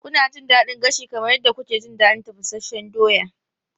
Kuna jin daɗin gashi kamar yadda kuke jin daɗin tafasasshen doya?